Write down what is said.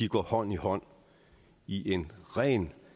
går hånd i hånd i en rent